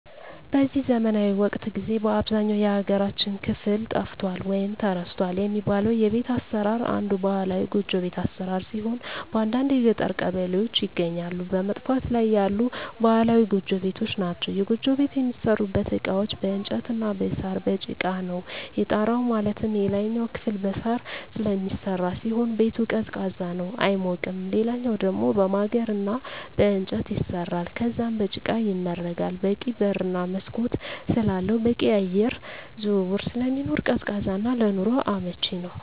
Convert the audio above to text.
በዚህ ዘመናዊ ወቅት ጊዜ በአብዛኛው የሀገራችን ክፍል ጠፍቷል ወይም ተረስቷል የሚባለው የቤት አሰራር አንዱ ባህላዊ ጎጆ ቤት አሰራር ሲሆን በአንዳንድ የገጠር ቀበሌዎች ይገኛሉ በመጥፋት ላይ ያሉ ባህላዊ ጎጆ ቤቶች ናቸዉ። የጎጆ ቤት የሚሠሩበት እቃዎች በእንጨት እና በሳር፣ በጭቃ ነው። የጣራው ማለትም የላይኛው ክፍል በሳር ስለሚሰራ ሲሆን ቤቱ ቀዝቃዛ ነው አይሞቅም ሌላኛው ደሞ በማገር እና በእንጨት ይሰራል ከዛም በጭቃ ይመረጋል በቂ በር እና መስኮት ስላለው በቂ የአየር ዝውውር ስለሚኖር ቀዝቃዛ እና ለኑሮ አመቺ ነው።